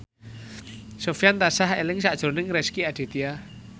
Sofyan tansah eling sakjroning Rezky Aditya